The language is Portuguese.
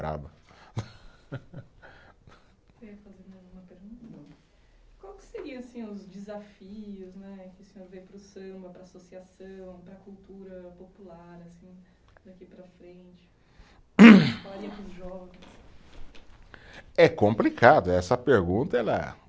Quer fazer mais alguma pergunta? Não. Qual que seria assim os desafios né, que o senhor vê para o samba, para a associação, para a cultura popular assim, daqui para frente? os jovens. É complicado, essa pergunta, ela